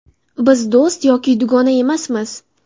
Biz do‘st yoki dugona emasmiz.